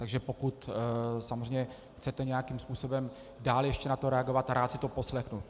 Takže pokud samozřejmě chcete nějakým způsobem dál ještě na to reagovat, rád si to poslechnu.